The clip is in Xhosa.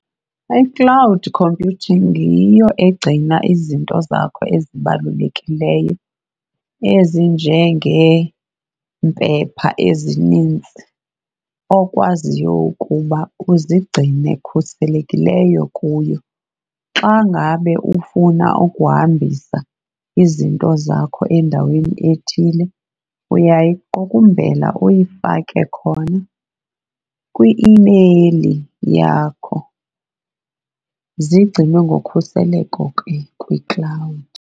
I-cloud computing yiyo egcina izinto zakho ezibalulekileyo ezinjengeempepha ezinintsi okwaziyo ukuba uzigcine khuselekileyo kuyo. Xa ngabe ufuna ukuhambisa izinto zakho endaweni ethile uyayiqukumbela uyifake khona kwi-imeyili yakho zigcinwe ngokhuseleko ke kwi-cloud.